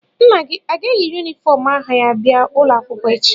Nna gị a ga-eyi yunifọm agha ya bịa ụlọ akwụkwọ echi?